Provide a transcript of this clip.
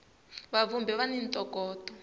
va vhumbhi va ni ntokoto